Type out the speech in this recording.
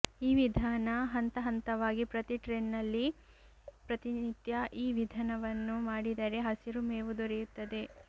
ಈ ವಿಧಾನ ಹಂತ ಹಂತವಾಗಿ ಪ್ರತಿ ಟ್ರೆನಲ್ಲಿ ಪ್ರತಿನಿತ್ಯ ಈ ವಿಧನವನ್ನು ಮಾಡಿದರೆ ಹಸಿರು ಮೇವು ದೊರೆಯುತ್ತದೆ